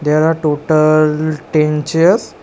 There are tota-al ten chairs.